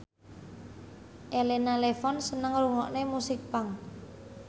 Elena Levon seneng ngrungokne musik punk